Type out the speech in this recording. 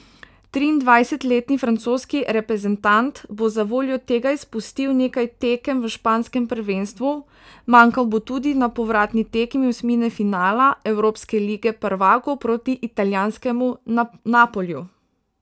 Triindvajsetletni francoski reprezentant bo zavoljo tega izpustil nekaj tekem v španskem prvenstvu, manjkal bo tudi na povratni tekmi osmine finala evropske lige prvakov proti italijanskemu Napoliju.